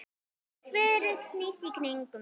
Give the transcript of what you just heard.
Sverðið snýst í kringum mig.